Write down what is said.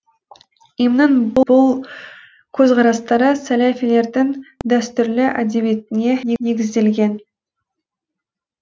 им нің бұл көзқарастары сәләфилердің дәстүрлі әдебиетіне негізделген